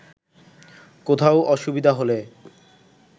কোথাও অসুবিধা হলে